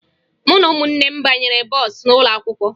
Mụ na ụmụnne m banyere bọọsụ ụlọakwụkwọ